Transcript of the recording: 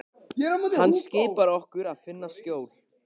Hann skipar okkur að finna skjól.